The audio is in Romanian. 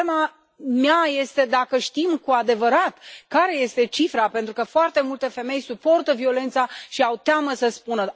Problema mea este dacă știm cu adevărat care este cifra, pentru că foarte multe femei suportă violența și au teamă să spună.